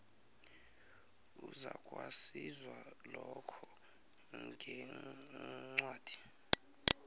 uzakwaziswa lokho ngencwadi